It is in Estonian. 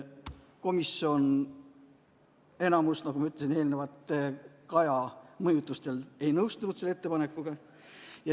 Komisjoni enamus, nagu ma ütlesin eelnevalt, Kaja mõjutusel ei nõustunud selle ettepanekuga.